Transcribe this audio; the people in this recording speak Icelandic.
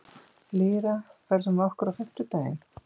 Lýra, ferð þú með okkur á fimmtudaginn?